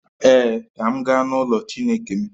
Ee, ka m gaa n’ụlọ Chineke m